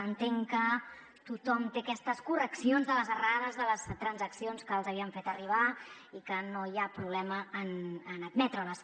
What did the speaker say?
entenc que tothom té aquestes correccions de les errades de les transaccions que els havíem fet arribar i que no hi ha problema d’admetre les